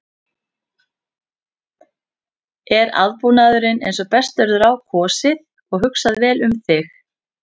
Er aðbúnaðurinn eins og best verður á kosið og hugsað vel um þig?